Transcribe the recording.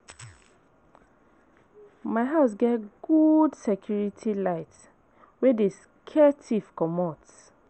My house get good security light wey dey scare tiff comot.